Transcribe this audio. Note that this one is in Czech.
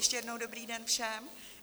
Ještě jednou dobrý den všem.